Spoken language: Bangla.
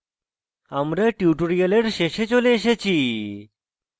আমরা tutorial শেষে চলে এসেছি